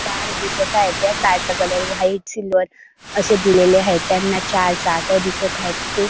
Car दिसत आहे त्या कार चा कलर व्हाईट सिल्वर अशे दिलेले आहेत त्यांना चार चाक दिसत आहे.